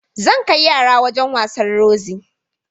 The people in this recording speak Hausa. Zan kai yara wajan wasan Rozi